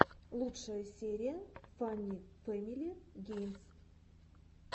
лучшая серия фанни фэмили геймс